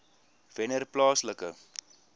wennerplaaslike